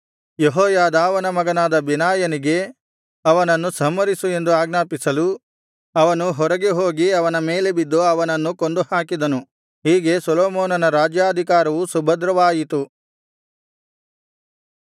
ಯೆಹೋಯಾದಾವನ ಮಗನಾದ ಬೆನಾಯನಿಗೆ ಅವನನ್ನು ಸಂಹರಿಸು ಎಂದು ಆಜ್ಞಾಪಿಸಲು ಅವನು ಹೊರಗೆ ಹೋಗಿ ಅವನ ಮೇಲೆ ಬಿದ್ದು ಅವನನ್ನು ಕೊಂದುಹಾಕಿದನು ಹೀಗೆ ಸೊಲೊಮೋನನ ರಾಜ್ಯಾಧಿಕಾರವು ಸುಭದ್ರವಾಯಿತು